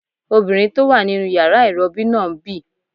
Obìnrin tó wà nínu yàrá ìrọbí náà ń bì